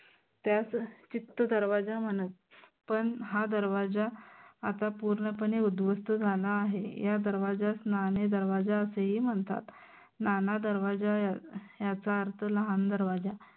त्यास चित्त दरवाजा म्हनत पन हा दरवाजा आता पूर्णपणे उध्वस्थ आहे. या दरवाज्यास नाने दरवाजा असेही म्हनतात. नाना दरवाजा याचा अर्थ लहान दरवाजा